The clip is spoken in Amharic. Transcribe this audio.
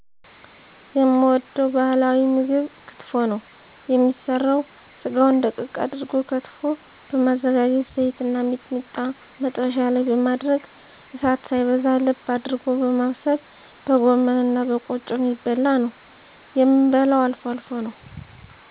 የምወደዉ ባህላዊ ምግብ ክትፎ ነዉ የሚሰራዉ ስጋዉን ደቀቅ አድርጎ ከትፎ በማዘጋጀት ዘይትና ሚጥሚጣ መጥበሻ ላይ በማድረግ እሳት ሳይበዛ ለብ አድርጎ በማብሰል በጎመንእና በቆጮ የሚበላነዉ የምበላዉ አልፎ አልፎ ነዉ